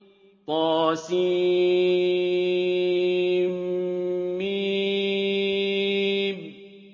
طسم